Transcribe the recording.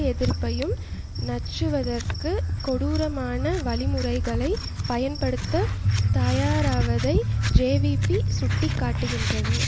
எதிர்ப்பையும் நச்சுறுத்துவதை கொடூரமான வழிமுறைகளை பயன்படுத்த தயாராவதை ஜேவிபி சுட்டக்காட்டுகின்றது